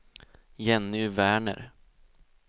Jenny Werner